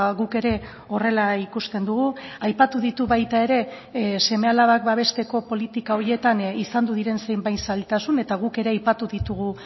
guk ere horrela ikusten dugu aipatu ditu baita ere seme alabak babesteko politika horietan izan diren zenbait zailtasun eta guk ere aipatu ditugu